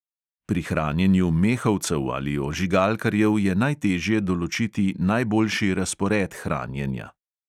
Pri hranjenju mehovcev ali ožigalkarjev je najtežje določiti najboljši razpored hranjenja.